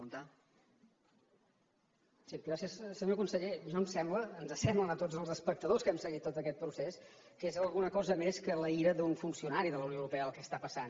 senyor conseller a mi em sembla ens sembla a tots els espectadors que hem seguit tot aquest procés que és alguna cosa més que la ira d’un funcionari de la unió europea el que passa